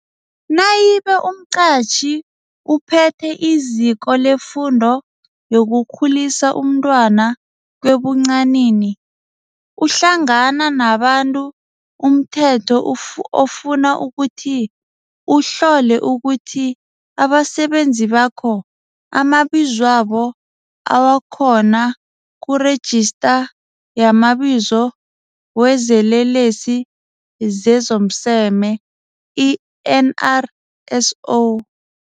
Nayibe umqatjhi ophethe iziko lefundo yokukhulisa umntwana kwebuncanini, uhlangana nabantu umthetho ofuna ukuthi uhlole ukuthi abasebenzi bakho amabizwabo awakhona kuRejista yamaBizo wezeLelesi zezomSeme, i-NRSO.